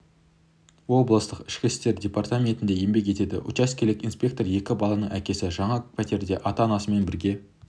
облыстық ішкі істер департаментінде еңбек етеді учаскелік инспектор екі баланың әкесі жаңа пәтерде ата-анасымен бірге